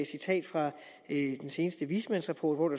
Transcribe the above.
citat fra den seneste vismandsrapport